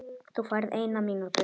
Þú færð eina mínútu.